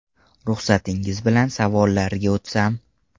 Ruxsatingiz bilan savollarga o ‘tsam.